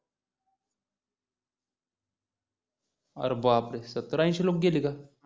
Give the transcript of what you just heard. अरे बापरे सत्तर अंशी लुक गेली का